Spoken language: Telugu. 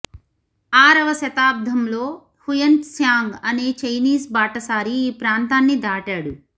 ఆరవ శతాబ్దంలో హుయన్ త్సాంగ్ అనే చైనీస్ బాటసారి ఈ ప్రాంతాన్ని దాటాడు